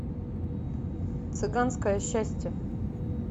цыганское счастье